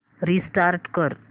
restart कर